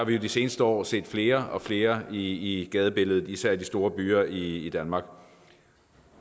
vi jo de seneste år set flere og flere i gadebilledet især i de store byer i danmark